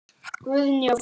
Guðný og Fríða.